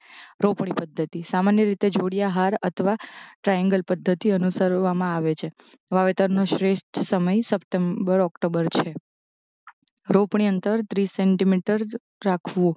રોપણી પધ્ધતિ સામાન્ય રીતે જોડિયા હાર અથવા ટ્રાંએન્ગલ પધ્ધતિ અનુસરવામાં આવે છે વાવેતર નો શ્રેષ્ઠ સમય સપ્ટેમ્બર ઓક્ટોબર છે રોપણી અંતર ત્રીસ સેન્ટીમીટર રાખવું